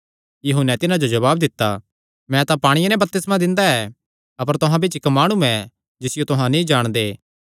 यूहन्ने तिन्हां जो जवाब दित्ता मैं तां पांणिये ते बपतिस्मा दिंदा ऐ अपर तुहां बिच्च इक्क माणु ऐ जिसियो तुहां नीं जाणदे